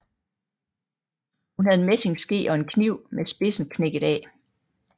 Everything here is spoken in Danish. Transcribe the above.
Hun havde en messingske og en kniv med spidsen knækket af